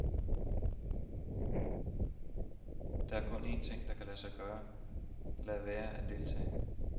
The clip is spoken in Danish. Der er kun en ting, jeg kan gøre, lade være at deltage.